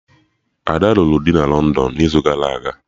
Ada lụrụ di na London n'izu gara aga